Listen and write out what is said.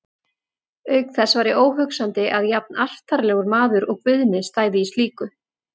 Auk þess væri óhugsandi að jafnartarlegur maður og Guðni stæði í slíku.